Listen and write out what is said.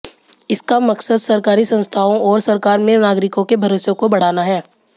इसका मक़सद सरकारी संस्थाओं और सरकार में नागरिकों के भरोसे को बढ़ाना है